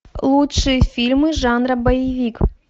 лучшие фильмы жанра боевик